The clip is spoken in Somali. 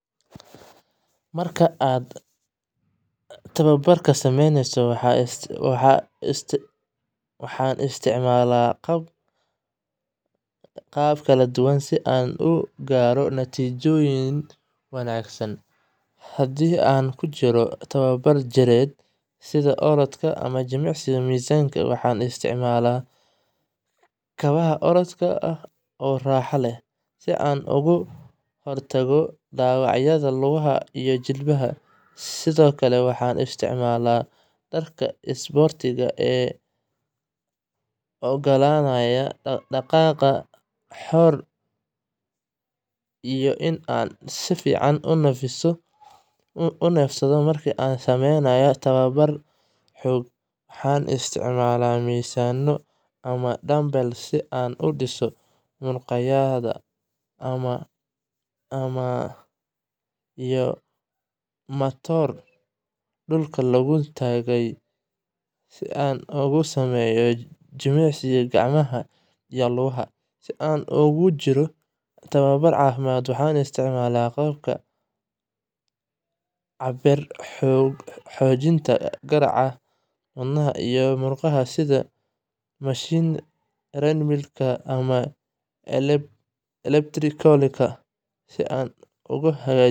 Marka aan tababarka sameynayo, waxaan isticmaalaa agab kala duwan si aan u gaaro natiijooyin wanaagsan. Haddii aan ku jiro tababar jireed, sida orodka ama jimicsiga miisaanka, waxaan isticmaalaa kabaha orodka oo raaxo leh, si aan uga hortago dhaawacyada lugaha iyo jilibka. Sidoo kale, waxaan isticmaalaa dharka isboortiga ee u oggolaanaya dhaqdhaqaaq xor ah iyo in aan si fiican u neefsado. Marka aan sameynayo tababar xoog, waxaan isticmaalaa miisaanno ama dumbbells si aan u dhiso muruqyada, iyo matoor dhulka lagu taagan yahay si aan ugu sameeyo jimicsi gacmaha iyo lugaha. Haddii aan ku jiro tababar caafimaad, waxaan isticmaalaa qalabka cabbira xoojinta garaaca wadnaha iyo muruqyada, sida mashiinnada treadmill-ka ama elliptical-ka. Si aad u hagaajiso.